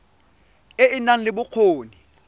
e e nang le bokgoni